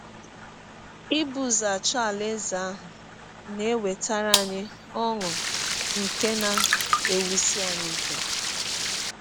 Ibụ ụzọ achọ Alaeze ahụ na - ewetara anyị ọṅụ nke na - ewụsi anyị ike.